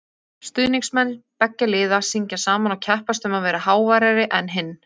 Stuðningsmenn beggja liða syngja saman og keppast um að vera háværari en hinn.